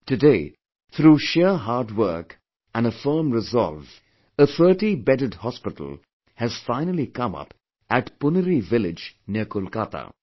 Today, through sheer hard work and a firm resolve, a thirty bedded hospital has finally come up at Punri Village near Kolkata